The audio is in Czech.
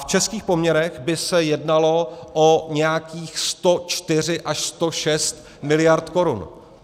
V českých poměrech by se jednalo o nějakých 104 až 106 mld. korun.